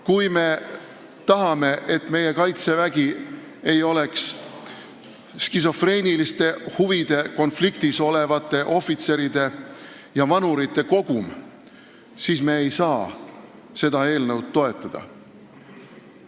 Kui me tahame, et meie kaitsevägi ei oleks skisofreenilise huvide konflikti käes vaevlevate ohvitseride ja vanurite kogum, siis me ei saa seda eelnõu toetada.